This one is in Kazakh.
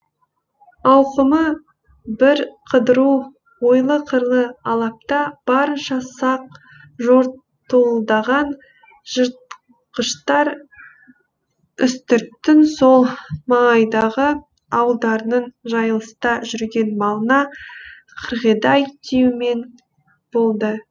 ауқымы бірқыдыру ойлы қырлы алапта барынша сақ жортуылдаған жыртқыштар үстірттің сол маңайдағы ауылдарының жайылыста жүрген малына қырғидай тиюмен болды